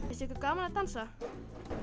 finnst ykkur gaman að dansa já